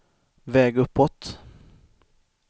väg uppåt